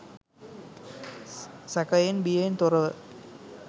සැකයෙන් බියෙන් තොරව